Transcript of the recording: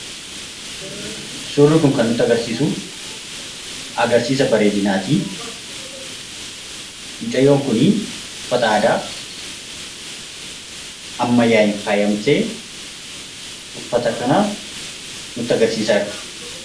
Suurri kun kan nutti agarsiisu agarsiisa bareedinaati. Mucayyoon kuni uffata aadaa ammayyaa'een faayamtee , uffata kan nutti agarsiisaa jirti.